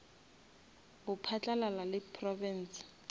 go phatlalala le province